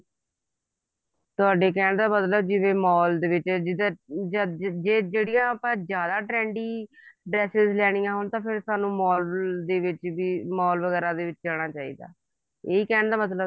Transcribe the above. ਤੁਹਾਡੇ ਕਹਿਣ ਦਾ ਮਤਲਬ ਹੈ ਜਿਵੇਂ mall ਦੇ ਵਿੱਚ ਜਦ ਜਿਹੜੀਆਂ ਆਪਾਂ ਜਿਆਦਾ trendy dresses ਲੈਣੀਆਂ ਹੋਣ ਤਾਂ ਸਾਨੂੰ mall ਦੇ ਵਿੱਚ ਵੀ mall ਵਗੈਰਾ ਦੇ ਵਿੱਚ ਜਾਣਾ ਚਾਹੀਦਾ ਇਹੀ ਕਹਿਣ ਦਾ ਮਤਲਬ